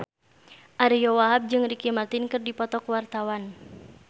Ariyo Wahab jeung Ricky Martin keur dipoto ku wartawan